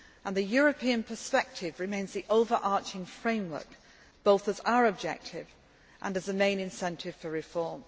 The European perspective remains the overarching framework both as our objective and as the main incentive for reform.